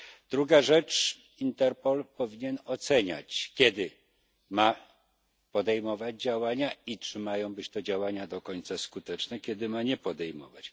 Druga rzecz Interpol powinien oceniać, kiedy ma podejmować działania i czy mają być to działania do końca skuteczne, kiedy ma ich nie podejmować.